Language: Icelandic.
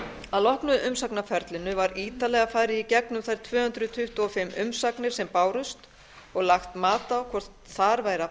að loknu umsagnarferlinu var ítarlega farið í gegnum þær tvö hundruð tuttugu og fimm umsagnir sem bárust og lagt mat á hvort þar væri að